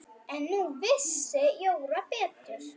En nú vissi Jóra betur.